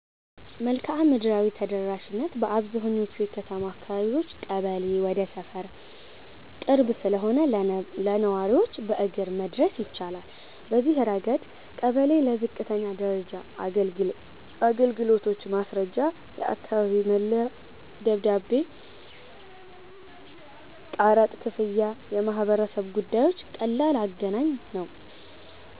1. መልክዓ ምድራዊ ተደራሽነት - በአብዛኛዎቹ የከተማ አካባቢዎች ቀበሌ ወደ ሰፈር ቅርብ ስለሆነ ለነዋሪዎች በእግር መድረስ ይቻላል። በዚህ ረገድ ቀበሌ ለዝቅተኛ ደረጃ አገልግሎቶች (ማስረጃ፣ የአካባቢ መለያ ደብዳቤ፣ ቀረጥ ክፍያ፣ የማህበረሰብ ጉዳዮች) ቀላል አገናኝ ነው።